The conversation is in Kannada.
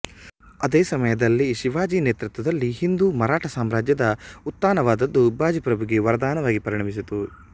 ಅದೇ ಸಮಯದಲ್ಲಿ ಶಿವಾಜಿ ನೇತೃತ್ವದಲ್ಲಿ ಹಿಂದೂ ಮರಾಠ ಸಾಮ್ರಾಜ್ಯದ ಉತ್ಥಾನವಾದದ್ದು ಬಾಜಿಪ್ರಭುಗೆ ವರದಾನವಾಗಿ ಪರಿಣಮಿಸಿತು